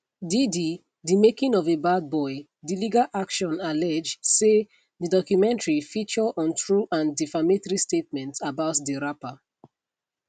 diddy di making of a bad boy di legal action allege say di documentary feature untrue and defamatory statements about di rapper